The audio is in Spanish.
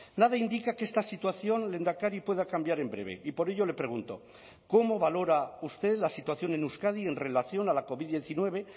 nada indica que esta situación lehendakari pueda cambiar en breve y por ello le pregunto cómo valora usted la situación en euskadi en relación a la covid diecinueve